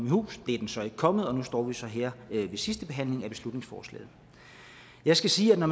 i hus det er den så ikke kommet og nu står vi så her ved sidste behandling af beslutningsforslaget jeg skal sige at